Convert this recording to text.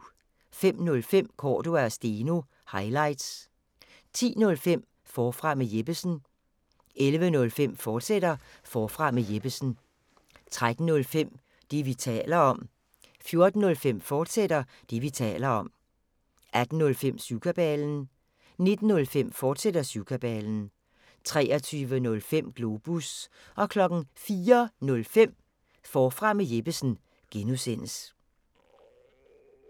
05:05: Cordua & Steno – highlights 10:05: Forfra med Jeppesen 11:05: Forfra med Jeppesen, fortsat 13:05: Det, vi taler om 14:05: Det, vi taler om, fortsat 18:05: Syvkabalen 19:05: Syvkabalen, fortsat 23:05: Globus 04:05: Forfra med Jeppesen (G)